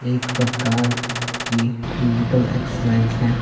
एक प्रकार की फिजिकल एक्सरसाइज है ।